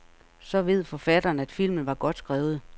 Så ved forfatteren, at filmen var godt skrevet.